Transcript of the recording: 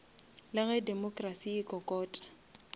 le ge democracy e kokota